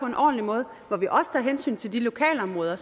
en ordentlig måde og hvor vi også tager hensyn til de lokalområder